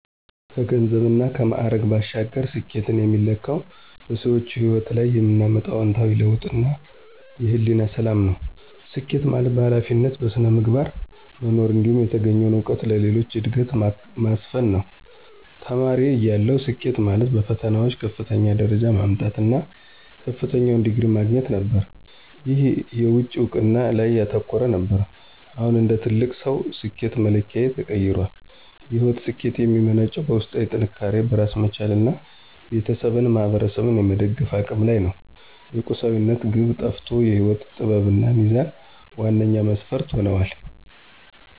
ከገንዘብና ከማዕረግ ባሻገር፣ ስኬትን የሚለካው በሰዎች ሕይወት ላይ የምናመጣው አዎንታዊ ለውጥና የሕሊና ሰላም ነው። ስኬት ማለት በኃላፊነትና በሥነ ምግባር መኖር፣ እንዲሁም የተገኘውን እውቀት ለሌሎች ዕድገት ማስፈን ነው። ተማሪ እያለሁ፣ ስኬት ማለት በፈተናዎች ከፍተኛውን ደረጃ ማምጣት እና ከፍተኛውን ዲግሪ ማግኘት ነበር። ይህ የውጭ እውቅና ላይ ያተኮረ ነበር። አሁን እንደ ትልቅ ሰው፣ ስኬት መለኪያዬ ተቀይሯል። የሕይወት ስኬት የሚመነጨው በውስጣዊ ጥንካሬ፣ በራስ መቻልና ቤተሰብንና ማኅበረሰብን የመደገፍ አቅም ላይ ነው። የቁሳዊነት ግብ ጠፍቶ የሕይወት ጥበብና ሚዛን ዋነኛ መስፈርት ሆነዋል።